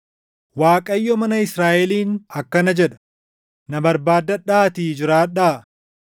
Waaqayyo mana Israaʼeliin akkana jedha: “Na barbaaddadhaatii jiraadhaa;